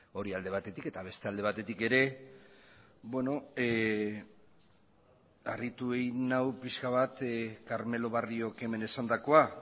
hori alde batetik eta beste alde batetik ere harritu egin nau pixka bat carmelo barriok hemen esandakoa